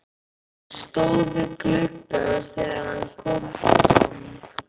Hún stóð við gluggann þegar hann kom fram.